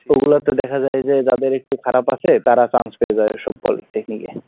ওগুলোতে দেখা যায় যে যাদের একটু খারাপ আছে তারা chance পেয়ে যায় ওসব Polytechnic এ,